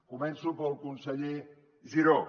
començo pel conseller giró